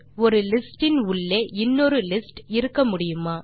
ஒரு லிஸ்ட் இன் உள்ளே இன்னொரு லிஸ்ட் இருக்கமுடியுமா